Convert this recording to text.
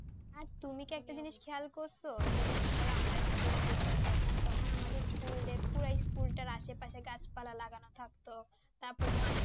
আর তুমি কি একটা জিনিস খেয়াল করছো যে মনে করো আমরা school পড়তাম যখন তখন আমাদের school পুরো school তাই আসে পাশে গাছ পালা লাগানো থাকতো তারপরে মাথায়